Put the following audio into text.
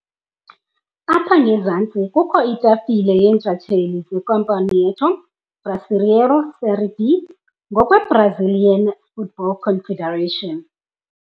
Apha ngezantsi kukho itafile yeentshatsheli zeCampeonato Brasileiro Série B ngokweBrazilian Football Confederation.